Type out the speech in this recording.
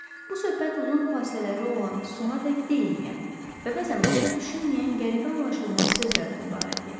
Bu söhbət uzun fasilələri olan, sonadək deyilməyən və bəzən başa düşülməyən qəribə anlaşılmaz sözlərdən ibarət idi.